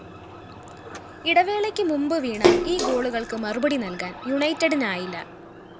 ഇടവേളയ്ക്കു മുന്‍പ് വീണ ഈ ഗോളുകള്‍ക്ക് മറുപടി നല്‍കാന്‍ യുണൈറ്റഡിനായില്ല